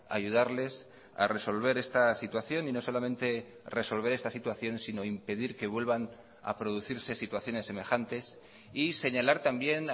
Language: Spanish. ayudarles a resolver esta situación y no solamente resolver esta situación sino impedir que vuelvan a producirse situaciones semejantes y señalar también